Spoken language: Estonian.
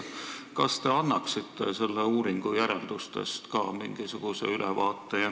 Kas te annaksite selle uuringu järeldustest mingisuguse ülevaate?